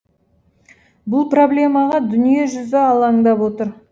бұл проблемаға дүниежүзі алаңдап отыр